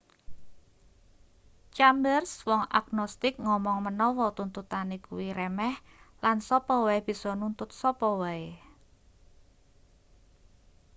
chambers wong agnostik ngomong menawa tuntutane kuwi remeh lan sapa wae bisa nuntut sapa wae